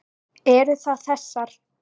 Eru það þessar?